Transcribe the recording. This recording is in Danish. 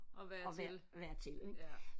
At være til ja